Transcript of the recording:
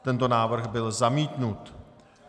Tento návrh byl zamítnut.